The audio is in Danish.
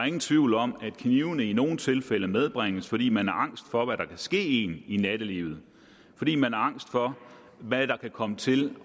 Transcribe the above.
ingen tvivl om at knivene i nogle tilfælde medbringes fordi man er angst for hvad der kan ske en i nattelivet fordi man er angst for hvad der kan komme til